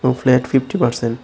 এবং flat fifty percent.